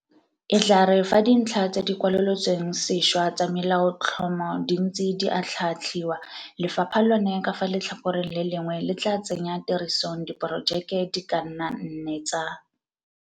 E tla re fa dintlha tse di kwalolotsweng sešwa tsa Melaotlhomo di ntse di atlhaatlhiwa, lefapha lone ka fa letlhakoreng le lengwe le tla tsenya tirisong diporo jeke di ka nna nne tsa